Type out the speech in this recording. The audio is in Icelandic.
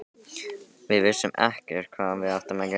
Við vissum ekkert hvað við áttum að gera.